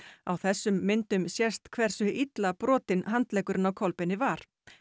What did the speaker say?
á þessum myndum sést hversu illa brotinn handleggurinn á Kolbeini var